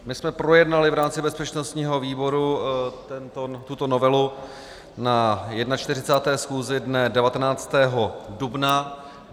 My jsme projednali v rámci bezpečnostního výboru tuto novelu na 41. schůzi dne 19. dubna.